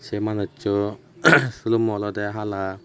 sey manusso sulumo olodey hala.